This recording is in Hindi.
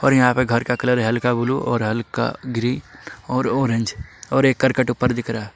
और यहां पे घर का कलर हल्का ब्लू और हल्का ग्रीन और ऑरेंज और एक करकट ऊपर दिख रहा--